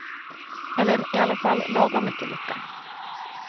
Eller i alla fall lagom mycket lycka.